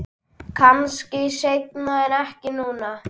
Kannski seinna en ekki núna.